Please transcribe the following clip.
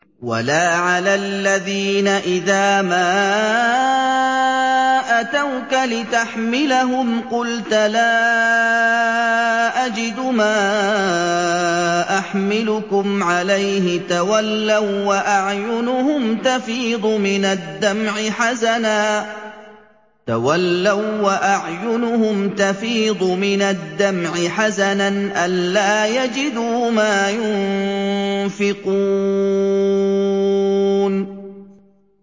وَلَا عَلَى الَّذِينَ إِذَا مَا أَتَوْكَ لِتَحْمِلَهُمْ قُلْتَ لَا أَجِدُ مَا أَحْمِلُكُمْ عَلَيْهِ تَوَلَّوا وَّأَعْيُنُهُمْ تَفِيضُ مِنَ الدَّمْعِ حَزَنًا أَلَّا يَجِدُوا مَا يُنفِقُونَ